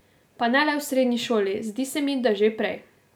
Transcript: Pa ne le v srednji šoli, zdi se mi, da že prej.